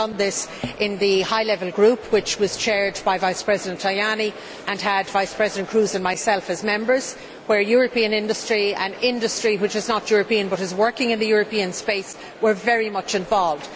We have done this in the high level group, which was chaired by Vice President Tajani and had Vice President Kroes and myself as members, where European industry and industry which is not European but is working in the European space were very much involved.